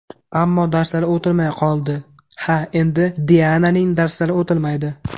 Ammo darslari o‘tilmay qoldi... Ha, endi Diananing darslari o‘tilmaydi!